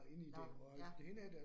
Nåh ja